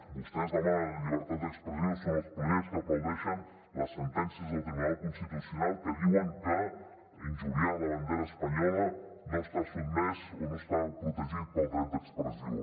vostès que demanen la llibertat d’expressió són els primers que aplaudeixen les sentències del tribunal constitucional que diu que injuriar la bandera espanyola no està protegit pel dret d’expressió